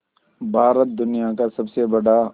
भारत दुनिया का सबसे बड़ा